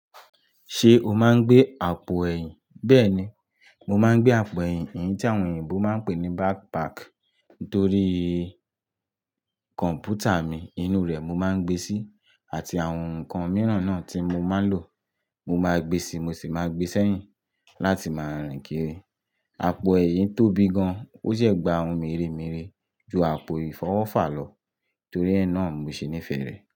Ṣé o máa ń gbé àpò ẹ̀yìn? Bẹ́ẹ̀ni, mo máa ń gbé àpò ẹ̀yìn, èyí tí àwọn òyìnbó máa ń pè ní backpack. Nítorí kọ̀m̀pútà mi inú rẹ̀ mo máa ń gbé síi, àti àwọn nǹkan mìíràn náà tí mo máa ń lò. Mo máa gbé síi, mo sì máa gbé sẹ́yìn láti máa rìn kiri. Àpò ẹ̀yìn tóbi gan, ó de gba ohun mèremère ju àpò ìfọwọ́fà lọ, nítorí ẹ́ náà mi ò ṣe níí fẹ́ rẹ̀.